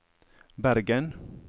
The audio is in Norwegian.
Bergen